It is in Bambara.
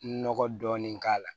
Nɔgɔ dɔɔnin k'a la